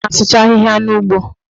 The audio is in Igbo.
Ọ na-asụcha ahịhịa n'ugbo